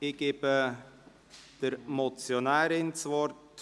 Ich erteile der Motionärin das Wort.